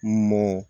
Mɔ